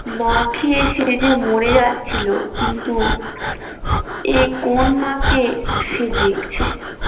না খেয়ে সে যে মরে যাচ্ছিল কিন্তু এ কোন মাকে সে দেখছে